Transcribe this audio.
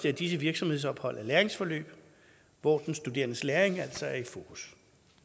at disse virksomhedsophold er læringsforløb hvor den studerendes læring altså er i fokus